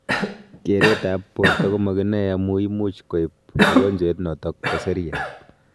keret ap porta komakinae amu much koip mogonjwet notok po seriat